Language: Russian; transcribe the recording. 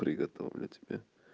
приготовлю тебе